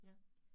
Ja